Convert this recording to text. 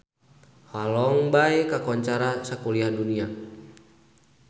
Halong Bay kakoncara sakuliah dunya